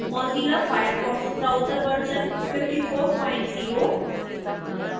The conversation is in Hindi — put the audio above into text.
mozilla firefox ब्राउज़र वर्जन 540 और